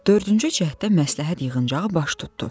Dördüncü cəhddə məsləhət yığıncağı baş tutdu.